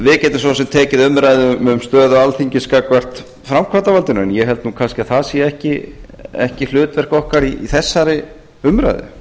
við getum svo sem tekið umræðu um stöðu alþingis gagnvart framkvæmdarvaldinu en ég held nú kannski að það sé ekki hlutverk okkar í þessari umræðu